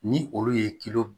Ni olu ye